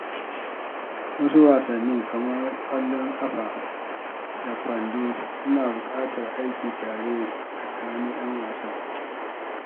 Wasu wasanni kamar ƙwallon ƙafa da kwando suna buƙatar aiki tare tsakanin ƴan wasan.